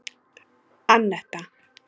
Anetta